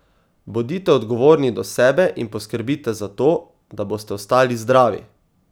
Bodite odgovorni do sebe in poskrbite za to, da boste ostali zdravi!